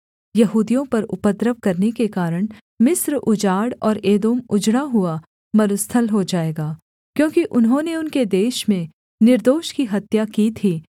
यहूदियों पर उपद्रव करने के कारण मिस्र उजाड़ और एदोम उजड़ा हुआ मरुस्थल हो जाएगा क्योंकि उन्होंने उनके देश में निर्दोष की हत्या की थी